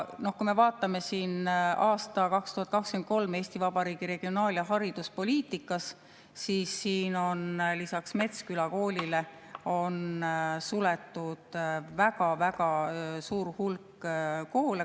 Aga kui me vaatame aastal 2023 Eesti Vabariigi regionaal- ja hariduspoliitikat, siis on lisaks Metsküla koolile suletud väga-väga suur hulk koole.